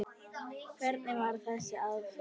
Hvernig varð þessi aðferð til?